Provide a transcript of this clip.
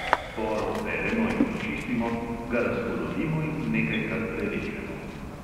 Por operemo in očistimo, ga razpolovimo in nekajkrat prerežemo.